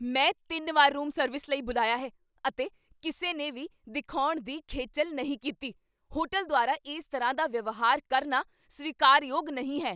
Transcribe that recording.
ਮੈਂ ਤਿੰਨ ਵਾਰ ਰੂਮ ਸਰਵਿਸ ਲਈ ਬੁਲਾਇਆ ਹੈ, ਅਤੇ ਕਿਸੇ ਨੇ ਵੀ ਦਿਖਾਉਣ ਦੀ ਖੇਚੱਲ ਨਹੀਂ ਕੀਤੀ! ਹੋਟਲ ਦੁਆਰਾ ਇਸ ਤਰ੍ਹਾਂ ਦਾ ਵਿਵਹਾਰ ਕਰਨਾ ਸਵੀਕਾਰਯੋਗ ਨਹੀਂ ਹੈ।